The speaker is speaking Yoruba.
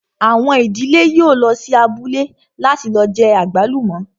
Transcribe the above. Àwọn ìdílé yóò lọ sí abúlé láti lọ jẹ àgbálùmọ́